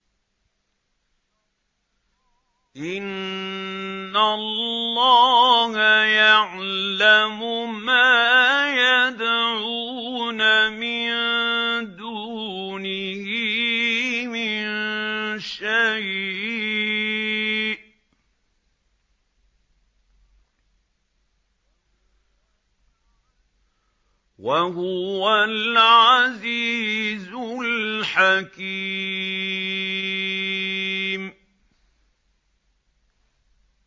إِنَّ اللَّهَ يَعْلَمُ مَا يَدْعُونَ مِن دُونِهِ مِن شَيْءٍ ۚ وَهُوَ الْعَزِيزُ الْحَكِيمُ